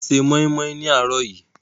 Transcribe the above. Wọ́n se moinmoin ní àárọ̀ yìí.